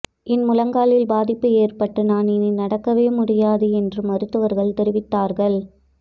என் முழங்காலில் பாதிப்பு ஏற்பட்டு நான் இனி நடக்கவே முடியாது என்று மருத்துவர்கள் தெரிவித்தார்கள்